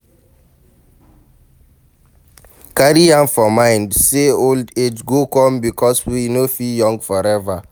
Carry am for mind sey old age go come because we no fit young forever